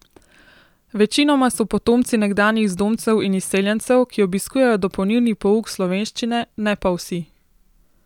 Večinoma so potomci nekdanjih zdomcev in izseljencev, ki obiskujejo dopolnilni pouk slovenščine, ne pa vsi.